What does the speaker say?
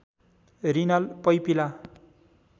renal papilla